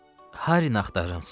Harry axtarırıq, ser.